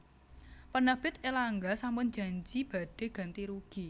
Penerbit Erlangga sampun janji badhe ganti rugi